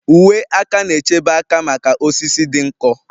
Uwe aka na-echebe aka maka osisi dị nkọ